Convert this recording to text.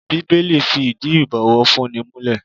Bíbélì fi ìdí ibowofunni múlẹ̀.